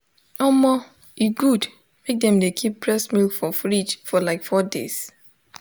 omo e good mk dem de keep breast milk for fridge for like four days